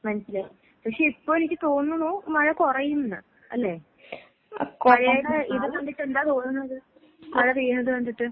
മനസിലായി. പക്ഷെ ഇപ്പൊ എനിക്ക് തോന്നണു മഴ കൊറയുംന്ന് അല്ലേ? കൊഴയുടെ ഇത് കണ്ടിട്ട് എന്താ തോന്നണത്? മഴ പെയ്യണത് കണ്ടിട്ട്?